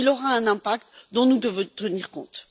Or, il aura un impact dont nous devons tenir compte.